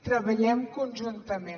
treballem conjuntament